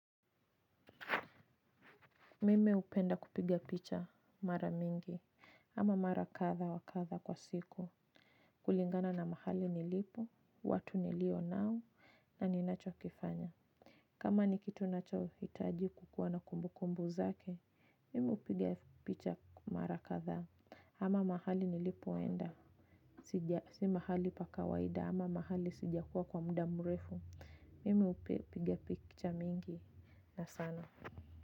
Mimi hupenda kupigia picha mara mingi, ama mara katha wa katha kwa siku, kulingana na mahali nilipo, watu nilio nao, na ni nacho kifanya. Kama ni kitu nacho hitaji kukuwa na kumbu kumbu zake, mimi hupiga picha mara katha, ama mahali nilipoenda, si mahali paka waida, ama mahali sija kuwa kwa mda mrefu. Mimi hupiga picha mingi, na sana.